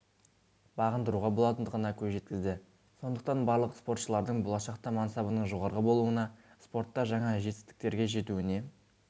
бағындыруға болатындығына көз жеткізді сондықтан барлық спортшылардың болашақта мансабының жоғары болуына спортта жаңа жетістіктерге жетуіне